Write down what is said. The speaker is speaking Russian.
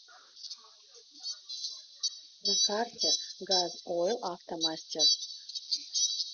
на карте газойлавтомастер